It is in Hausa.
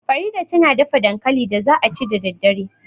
Farida ta na dafa dankalin da za a ci da daddare